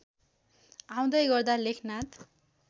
आउँदै गर्दा लेखनाथ